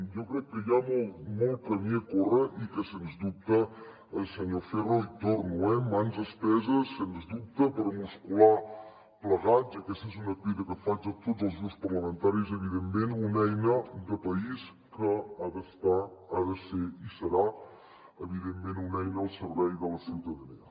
jo crec que hi ha molt camí a córrer i que sens dubte senyor ferro hi torno eh mans esteses sens dubte per muscular plegats i aquesta és una crida que faig a tots els grups parlamentaris evidentment una eina de país que ha d’estar ha de ser i serà evidentment una eina al servei de la ciutadania